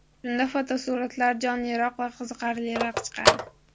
Shunda fotosuratlar jonliroq va qiziqarliroq chiqadi.